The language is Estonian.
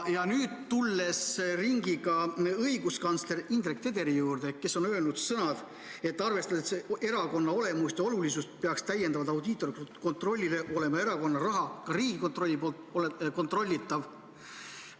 Ja nüüd tulen ringiga õiguskantsler Indrek Tederi sõnade juurde: ta on öelnud, et arvestades erakonna olemust ja olulisust, peaks erakonna raha olema peale audiitorkontrolli ka Riigikontrolli kontrollitav.